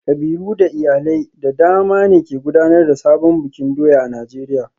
Kabilu da iyalai da dama ne ke gudanar da sabon bikin doya a Najeriya